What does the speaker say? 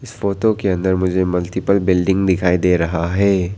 Photo के अंदर मुझे मल्टीप्ल बिल्डिंग दिखाई दे रहा है।